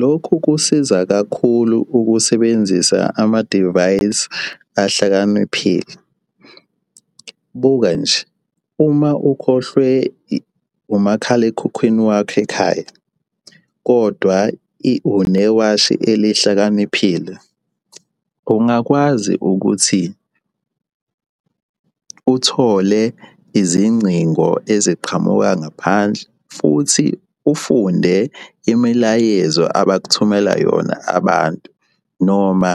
Lokhu kusiza kakhulu ukusebenzisa ama-device ahlakaniphile. Buka nje, uma ukhohlwe umakhalekhukhwini wakho ekhaya, kodwa unewashi elihlakaniphile, ungakwazi ukuthi uthole izingcingo eziqhamuka ngaphandle futhi ufunde imilayezo abakuthumela yona abantu noma